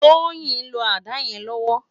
Toyin n ló àdá yèn lòwò